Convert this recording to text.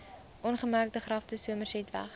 ongemerkte grafte somersetweg